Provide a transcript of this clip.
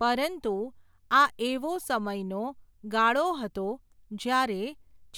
પરંતુ, આ એવો સમયનો, ગાળો હતો, જ્યારે,